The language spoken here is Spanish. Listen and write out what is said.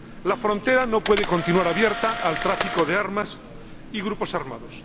La frontera no puede continuar abierta al tráfico de armas y a los grupos armados.